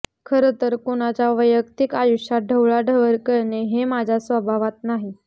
खरंतर कुणाच्या वैयक्तिक आयुष्यात ढवळाढवळ करणे हे माझ्या स्वभावात नाही